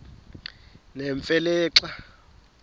nemfe le xa